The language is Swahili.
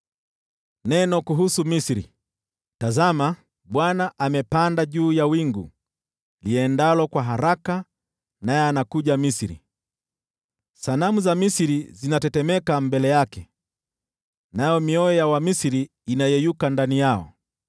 Neno kuhusu Misri: Tazama, Bwana amepanda juu ya wingu liendalo kwa haraka naye anakuja Misri. Sanamu za Misri zinatetemeka mbele yake, nayo mioyo ya Wamisri inayeyuka ndani yao.